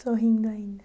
Sorrindo ainda.